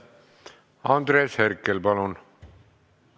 Andres Herkel, palun!